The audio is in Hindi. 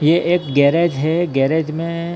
ये एक गैरेज है गैरेज में--